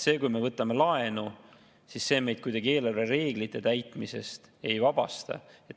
See, kui me võtame laenu, meid kuidagi eelarvereeglite täitmisest ei vabasta.